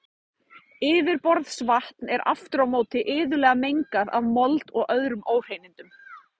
Yfirborðsvatn er aftur á móti iðulega mengað af mold og öðrum óhreinindum.